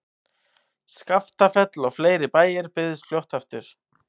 Skaftafell og fleiri bæir byggðust fljótt aftur.